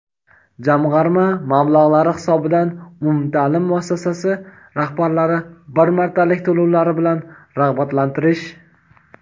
jamg‘arma mablag‘lari hisobidan umumtaʼlim muassasasi rahbarlari bir martalik to‘lovlari bilan rag‘batlantirish;.